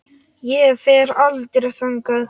Ég fer aldrei þangað.